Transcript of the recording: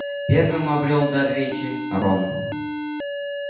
первым обрёл дар речи рон